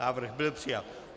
Návrh byl přijat.